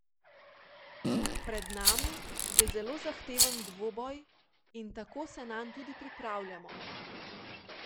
Pred nami je zelo zahteven dvoboj in tako se nanj tudi pripravljamo.